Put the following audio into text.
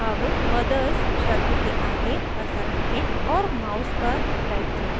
अब mothers शब्द के आगे cursor रखें और mouse पर right click करें